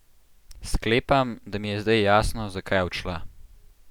Sklepam, da mi je zdaj jasno, zakaj je odšla.